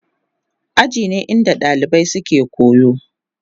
Aji ne inda dalibai suke koyo.